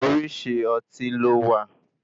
Orísìí Ọtí ló wà.